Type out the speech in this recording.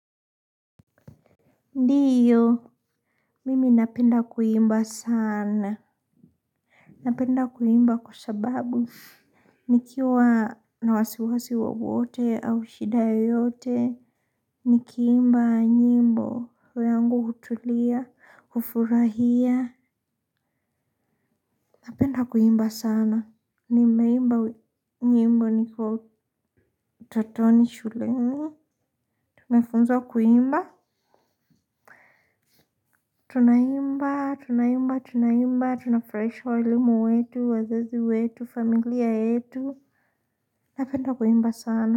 Ndiyo, mimi napenda kuimba sana. Napenda kuimba kwa sababu, nikiwa na wasiwasi wowote au shida yoyote, nikiimba nyimbo, roho yangu hutulia, kufurahia. Napenda kuimba sana, nimeimba nyimbo nikiwa utotoni shule. Tunafunzwa kuimba. Tunaimba, tunaimba, tunaimba, tunafurahisha walimu wetu, wazazi wetu, familia yetu, napenda kuimba sana.